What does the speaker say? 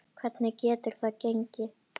Hvernig getur það gengi?